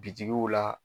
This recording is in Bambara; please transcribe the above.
Bitigiw la